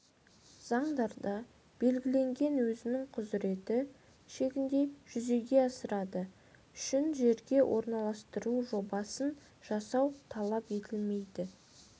заңдарында белгіленген өзінің құзыреті шегінде жүзеге асырады үшін жерге орналастыру жобасын жасау талап етілмейді